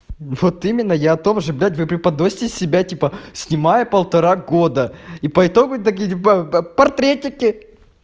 вот именно я о том же блядь вы преподносите себя типо снимаю полтора года и поэтому так либо портретники